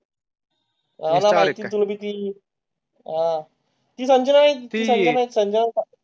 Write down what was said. आहे तुम्ही आह म्हणजे आहेत.